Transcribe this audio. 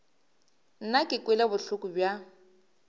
nna ke kwele bohloko bja